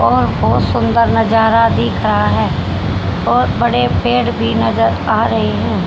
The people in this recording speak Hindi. और बहुत सुंदर नजारा दिख रहा है और बड़े पेड़ भी नजर आ रहे हैं।